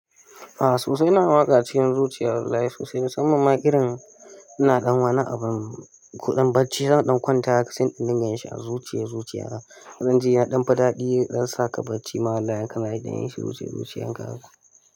A'a sosai ina waƙa cikin zuciyar wallahi sosai musamman ma irin ina ɗan wani abun ko ɗan bacci, zan ɗan kwanta haka sai in dinga yin shi a zuciya zuciya. Zan ji ya ɗan fi ɗaɗi zan saƙa bacci, ma wallahi in ɗan yin shiru cikin zuciyar ka haka.